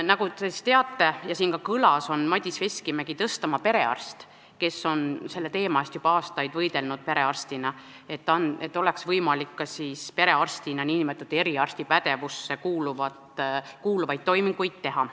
Nagu te teate ja siin ka kõlas, on Madis Veskimägi Tõstamaa perearst, kes on juba aastaid perearstina võidelnud selle eest, et ka perearstil oleks võimalik nn eriarsti pädevusse kuuluvaid toiminguid teha.